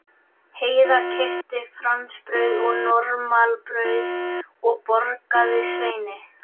Heiða keypti fransbrauð og normalbrauð og borgaði Sveini.